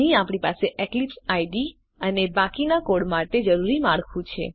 અહીં આપણી પાસે એક્લિપ્સ આઇડીઇ અને બાકીના કોડ માટે જરૂરી માળખું છે